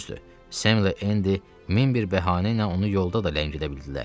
Düzdür, Sem ilə Endi min bir bəhanə ilə onu yolda da ləngidə bildilər.